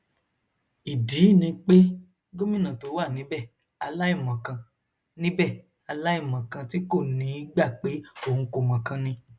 ìdí ni pé gómìnà tó wà níbẹ aláìmọkan níbẹ aláìmọkan tí kò ní í gbà pé òun kò mọkàn ni